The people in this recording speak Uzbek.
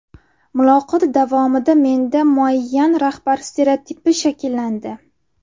Muloqot davomida menda muayyan rahbar stereotipi shakllandi.